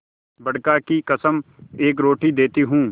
बड़का की कसम एक रोटी देती हूँ